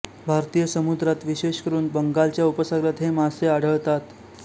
भारतीय समुद्रात विशेषेकरून बंगालच्या उपसागरात हे मासे आढळतात